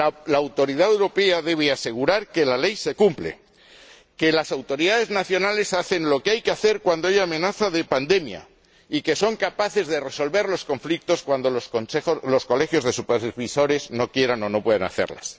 La autoridad europea debe asegurar que la ley se cumple, que las autoridades nacionales hacen lo que hay que hacer cuando hay amenaza de pandemia y que son capaces de resolver los conflictos cuando los colegios de supervisores no quieran o no puedan hacerlo.